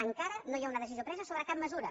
encara no hi ha una decisió presa sobre cap mesura